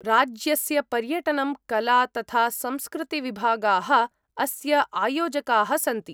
राज्यस्य पर्यटनं, कला तथा संस्कृतिविभागाः अस्य आयोजकाः सन्ति।